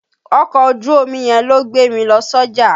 Ọkọ̀ ojú omi yẹn ló gbé mi lọ sọ́jà.